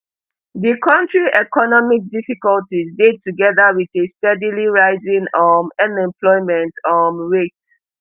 di kontri economic difficulties dey togeda with a steadily rising um unemployment um rate